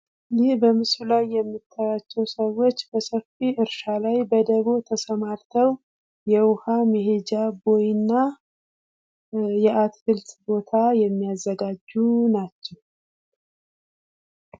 ይህ በምስሉ ላይ የምታይዋቸው ሰዎች በሰፊው እርሻ ላይ በደቦ ተሰማርተው የዉሃ መሄጃ ቦይና የአትክልት ቦታ የሚያዘጋጁ ናቸው::